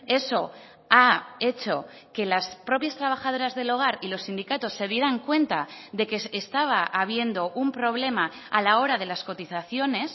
eso ha hecho que las propias trabajadoras del hogar y los sindicatos se dieran cuenta de que estaba habiendo un problema a la hora de las cotizaciones